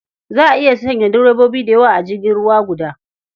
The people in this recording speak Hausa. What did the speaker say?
Za a iya sanya direbobi da yawa a jirgin ruwa guda.